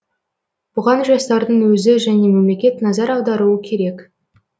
бұған жастардың өзі және мемлекет назар аударуы керек